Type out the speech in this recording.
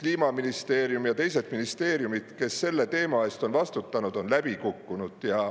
Kliimaministeerium ja teised ministeeriumid, kes selle teema eest on vastutanud, läbi kukkunud.